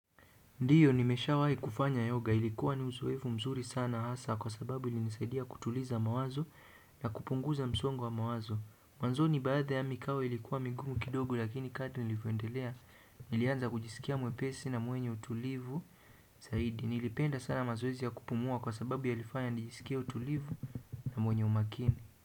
Ndiyo nimesha wahi kufanya yoga ilikuwa ni uzoevu mzuri sana hasa kwa sababu ilinisaidia kutuliza mawazo na kupunguza msongo wa mawazo. Mwanzoni baadhi ya mikao ilikuwa migumu kidogo lakini kadri nilivyoendelea nilianza kujisikia mwepesi na mwenye utulivu zaidi. Nilipenda sana mazoezi ya kupumua kwa sababu yalifanya nijisikie utulivu na mwenye umakini.